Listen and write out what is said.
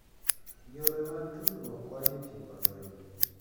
Yore mag tudruok konyo e tieko lweny